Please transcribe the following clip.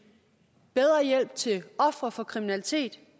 bedre hjælp til ofre for kriminalitet